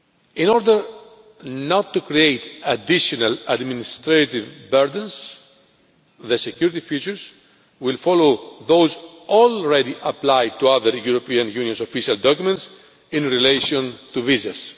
In order not to create additional administrative burdens, the security features will follow those already applied to our very European Union's official documents in relation to visas.